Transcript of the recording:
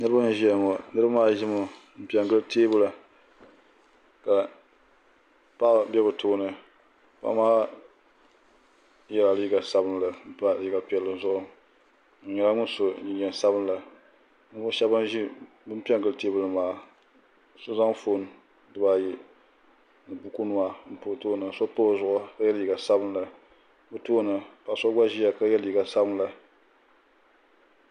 Niraba n ʒiya ŋo niraba maa ʒimi n piɛ gili teebuli ka paɣa ʒɛ bi tooni paɣa maa yɛla liiga sabinli n pa liiga piɛlli zuɣu o nyɛla ŋun so jinjɛm sabinli ninvuɣu shab ban piɛ n gili teebuli ŋo maa ka so zaŋ foon dibaayi ni buku nima n pa o tooni ka yɛ liiga sabinli o tooni paɣa so gba ʒiya ka yɛ liiga sabinli